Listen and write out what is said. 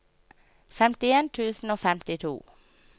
femtien tusen og femtito